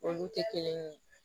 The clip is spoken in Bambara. Olu tɛ kelen ye